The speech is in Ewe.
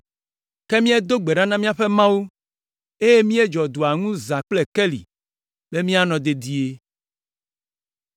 Ke míedo gbe ɖa na míaƒe Mawu, eye míedzɔ dua ŋu zã kple keli be míanɔ dedie.